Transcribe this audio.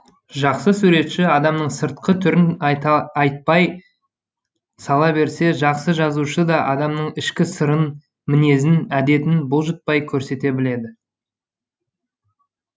жақсы суретші адамның сыртқы түрін айтпай сала берсе жақсы жазушы да адамның ішкі сырын мінезін әдетін бұлжытпай көрсете біледі